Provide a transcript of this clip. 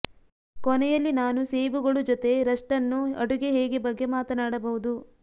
ಕೊನೆಯಲ್ಲಿ ನಾನು ಸೇಬುಗಳು ಜೊತೆ ರಷ್ಟನ್ನು ಅಡುಗೆ ಹೇಗೆ ಬಗ್ಗೆ ಮಾತನಾಡಬಹುದು